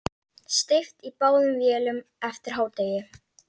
Steypt í báðum vélum eftir hádegi.